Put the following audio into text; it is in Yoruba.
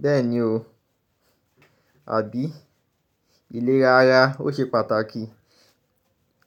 Bẹ́ẹ̀ni o, àbí? Iléra ara ó ṣe pàtàkì.